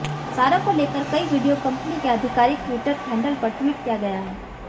सारा को लेकर कई वीडियो कंपनी के आधिकारिक ट्विटर हैंडल पर ट्वीट किया गया है